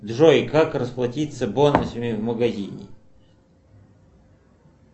джой как расплатиться бонусами в магазине